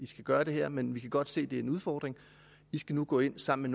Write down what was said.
skal gøre det her men vi kan godt se det er en udfordring i skal nu gå ind sammen